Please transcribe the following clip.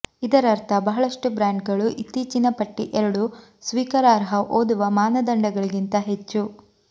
ಇದರರ್ಥ ಬಹಳಷ್ಟು ಬ್ರ್ಯಾಂಡ್ಗಳು ಇತ್ತೀಚಿನ ಪಟ್ಟಿ ಎರಡು ಸ್ವೀಕಾರಾರ್ಹ ಓದುವ ಮಾನದಂಡಗಳಿಗಿಂತ ಹೆಚ್ಚು